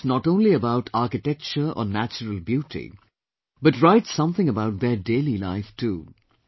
Write not only about architecture or natural beauty but write something about their daily life too